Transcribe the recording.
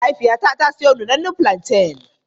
Mahaifiyata ta siyo nunannun fulanten.